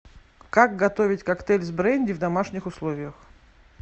как готовить коктейль с бренди в домашних условиях